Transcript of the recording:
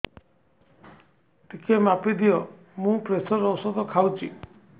ଟିକେ ମାପିଦିଅ ମୁଁ ପ୍ରେସର ଔଷଧ ଖାଉଚି